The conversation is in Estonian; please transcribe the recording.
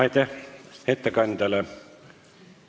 Aitäh ettekandjale!